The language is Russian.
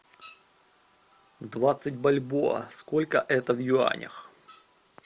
двадцать бальбоа сколько это в юанях